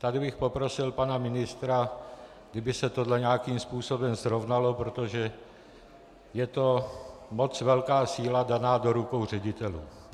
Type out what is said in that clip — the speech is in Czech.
Tady bych poprosil pana ministra, kdyby se toto nějakým způsobem srovnalo, protože je to moc velká síla daná do rukou ředitelů.